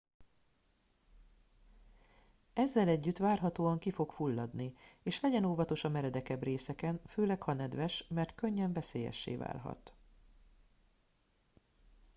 ezzel együtt várhatóan ki fog fulladni és legyen óvatos a meredekebb részeken főleg ha nedves mert könnyen veszélyessé válhat